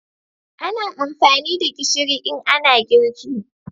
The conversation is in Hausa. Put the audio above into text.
ana amfani da gishiri in ana girki